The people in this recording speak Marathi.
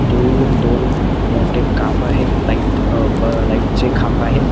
दुर दोन मोठे खांब आहेत लाइट अ ब लाइट चे खांब आहेत.